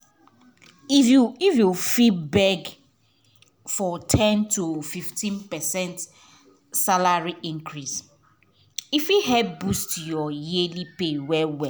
if you fit beg for ten percent to 15 percent salary increase e fit help boost your yearly pay well well.